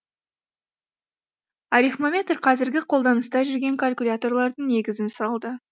арифмометр қазіргі қолданыста жүрген калькуляторлардың негізін салды